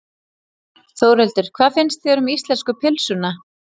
Þórhildur: Hvað finnst þér um íslensku pylsuna?